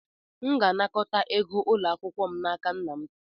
M ga-anakọta ego ụlọ akwụkwọ m n'aka nna m.